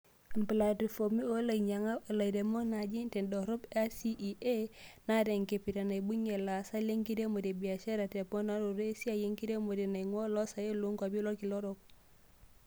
Emplatifom oolanyiankak - olamirak najii tedorop ACEA, naata enkipirta naibungia laasak lenkiremore e biashara te mponaroto esiai enkiremore naingua oloosaen loonkuapi olkila orok.